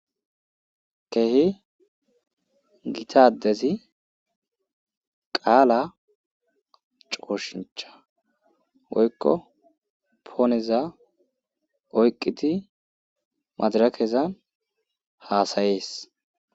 Kehi gita addezi qaala cooshincha woykko pooneza oyqqidi madarakeza haasayees.